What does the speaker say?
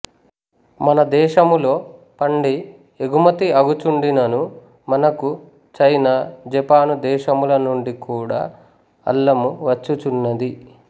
మన దేశములో పండి ఎగుంతి అగు చుండినను మనకు చీనా జపాను దేశముల నుండి కూడా అల్లము వచ్చు చున్నది